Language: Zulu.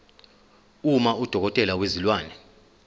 uma udokotela wezilwane